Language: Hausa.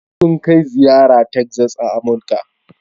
Sun kai ziyara zuwa Texas a Amurka.